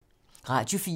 Radio 4